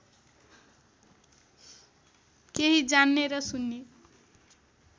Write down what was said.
केही जान्ने र सुन्ने